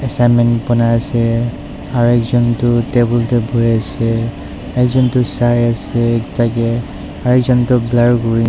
assignment bonai ase aru ekjont tu table te bohe ase ekjont tu sai ase ekta ke aru ekjont tu blur kori--